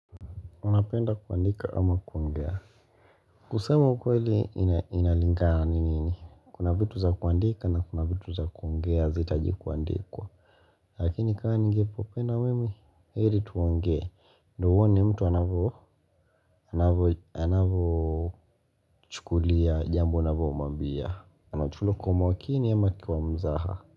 Unapenda kuandika ama kuongea kusema ukweli inalingana ni nini kuna vitu za kuandika na kuna vitu za kuongea hazitaji kuandikwa lakini kama ningepopenda mimi heri tuongee ndo uone mtu anavyochukulia jambo unavomwambia anachulo kwa makini ama kwa mzaha.